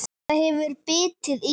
Þetta hefur bitið í?